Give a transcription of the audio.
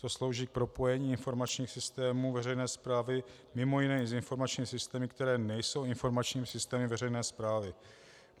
To slouží k propojení informačních systémů veřejné správy mimo jiné i s informačními systémy, které nejsou informačními systémy veřejné správy.